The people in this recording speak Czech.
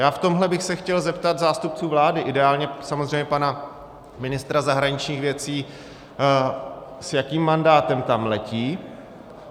Já v tomhle bych se chtěl zeptat zástupců vlády, ideálně samozřejmě pana ministra zahraničních věcí, s jakým mandátem tam letí.